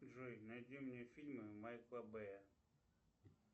джой найди мне фильмы майкла бэя